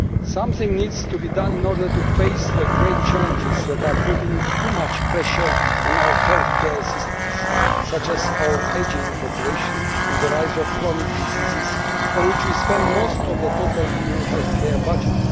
Something needs to be done in order to face the great challenges that are putting too much pressure on our healthcare systems including our ageing population and the rise of chronic diseases on which we spend most of the EU healthcare budget.